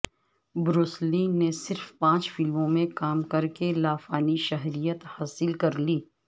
Bruce Lee نے صرف پانچ فلموں میں کام کرکے لافانی شہرت حاصل کر لی